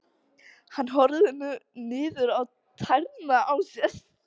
Hann horfir niður á tærnar á sér.